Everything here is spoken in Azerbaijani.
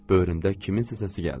Böhrümdən kiminsə səsi gəldi.